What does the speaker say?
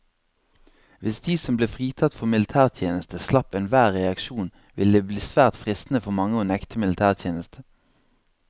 Hvis de som ble fritatt for militærtjeneste slapp enhver reaksjon, ville det bli svært fristende for mange å nekte militætjeneste.